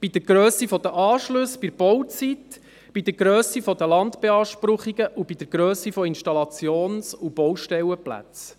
bei der Grösse der Anschlüsse, bei der Bauzeit, bei der Grösse der Landbeanspruchungen und bei der Grösse von Installations- und Baustellenplätzen.